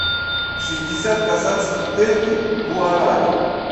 шестьдесят казахских тенге в гуаране